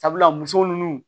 Sabula muso nunnu